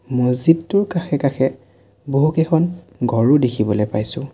মছজিদটোৰ কাষে কাষে বহুকেইখন ঘৰো দেখিবলৈ পাইছোঁ।